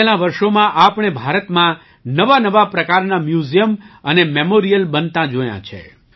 વિતેલાં વર્ષોમાં આપણે ભારતમાં નવાનવા પ્રકારના મ્યૂઝિયમ અને મેમોરિયલ બનતાં જોયાં છે